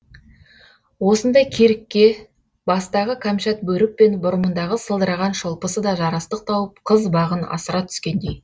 осындай керікке бастағы кәмшат бөрік пен бұрымындағы сылдыраған шолпысы да жарастық тауып қыз бағын асыра түскендей